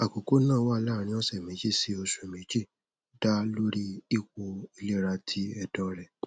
akoko naa wa laarin ọsẹ meji si osu meji da lori ipo ilera ti ẹdọ rẹ